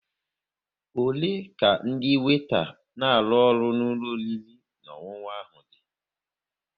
Ole ka ndị weeta n'aru ọrụ n'ulo oriri na ọṅụṅụ ahụ dị?